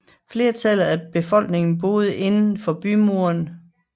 Flertallet af befolkningen boede inden for bymurene